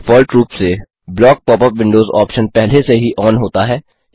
default रूप से block pop up windows option पहले से ही ऑन होता है